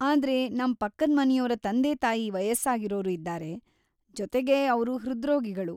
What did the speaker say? ಆದ್ರೆ, ನಮ್ ಪಕ್ಕದ್ ಮನೆಯೋರ ತಂದೆ-ತಾಯಿ ವಯಸ್ಸಾಗಿರೋರು ಇದ್ದಾರೆ, ಜೊತೆಗೆ ಅವ್ರು ಹೃದ್ರೋಗಿಗಳು.